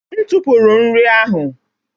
M tụpụrụ nri ahụ